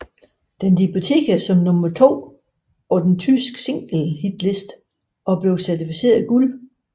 Den debuterede som nummer 2 på den tyske singlehitliste og blev certificeret guld